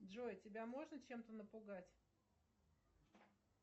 джой тебя можно чем то напугать